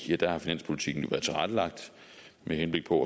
har finanspolitikken været tilrettelagt med henblik på